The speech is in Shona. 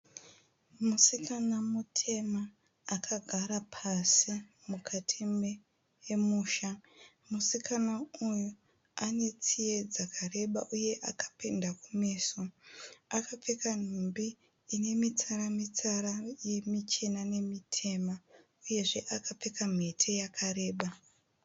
Musikana mutema akagara pasi mukati memusha. Musikana uyu anetsiye dzakareba uye akapenda kumeso. Akapfeka nhumbi inemitsara-mitsara yemichena nemitema uyezve akapfeka mhete yakareba.